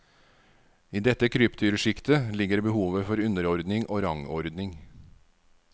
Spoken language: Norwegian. I dette krypdyrsjiktet ligger behovet for underordning og rangordning.